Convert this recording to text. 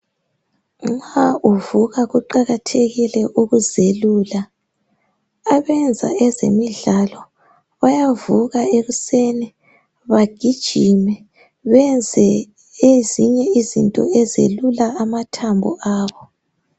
Nxa uvuka kuqakathekile ukuzelula. Abenza ezemidlalo bayavuka ekuseni, bagijime benze ezinye izinto ezelula amathambo abo.